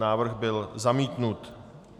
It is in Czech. Návrh byl zamítnut.